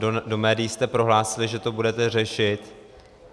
Do médií jste prohlásil, že to budete řešit.